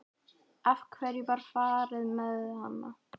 Af hverju var farið með hana?